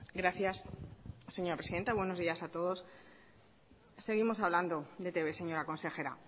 gracias señora presidenta buenos días a todos seguimos hablando de etb señora consejera